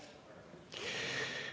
Aitäh!